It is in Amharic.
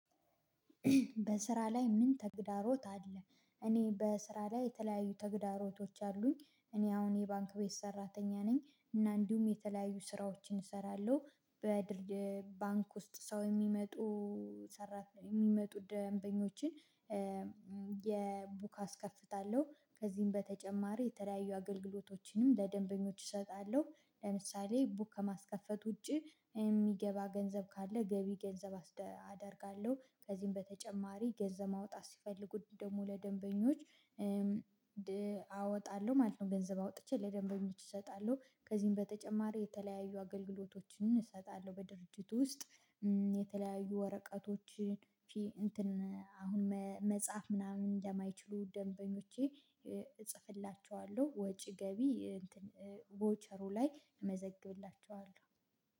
በስራ ላይ ምን ተግዳሮት አለ? እኔ በስራ ላይ የተለያዩ ተግዳሮቶች አሉኝ እኔ አሁን የባንክ ቤት ሰራተኛ ነኝ እና እንዲሁም የተለያዩ ስራዎችን እሰራለሁ በባንክ ውስጥ ሰው የሚመጡ ሰራት የሚመጡ ደንበኞችን። የ ቡክ አስከፍታለሁ ከዚህም በተጨማሪ የተለያዩ አገልግሎቶችንም ለደንበኞች እሰጣለሁ። ለምሳሌ ቡክ ከማስከፈት ውጪ እሚገባ ገንዘብ ካለ ገቢ ገንዘብ አደርጋለሁ። ከዚህም በተጨማሪ ገንዘብ ማውጣት ሲፈልጉ ደግሞ ለደንበኞች አወጣለሁ ማለት ነው ገንዘብ አውጥቼ ለደንበኞች እሰጣለሁ። ከዚህም በተጨማሪ የተለያዩ አገልግሎቶችን እሰጣለሁ። በድርጅቱ ውስጥ የተለያዩ ወረቀቶች እንትን አሁን መጽሐፍ ምናምን ለማይችሉ ደንበኞቼ እጽፍላቸዋለሁ ወጪ ገቢ እንትን ቮቸሩ ላይ እመዘግብላቸዋለሁ።